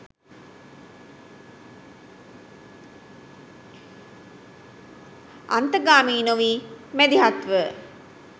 අන්තගාමී නොවී මැදිහත්ව